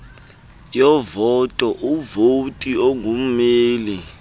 yovoto umvoti ongummeli